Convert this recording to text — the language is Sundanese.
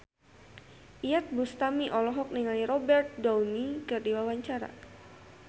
Iyeth Bustami olohok ningali Robert Downey keur diwawancara